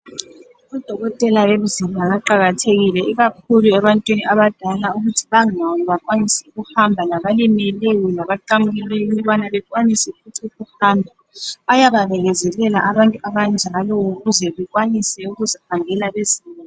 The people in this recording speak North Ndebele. Udokotela wemizimba uqakathekile ikakhulu ebantwini abadala ukuthi bangami bakwanise ukuhamba, labalimeleyo labaqamukileyo ukubana bakwanise futhi ukuhamba. Bayababekezelela abantu abanjalo ukuze bekwanise ukuzihambela bezimele.